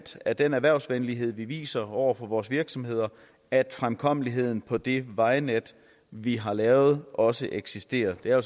af den erhvervsvenlighed vi viser over for vores virksomheder at fremkommeligheden på det vejnet vi har lavet også eksisterer det er jo